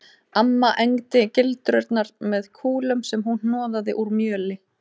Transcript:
Amma egndi gildrurnar með kúlum sem hún hnoðaði úr mjöli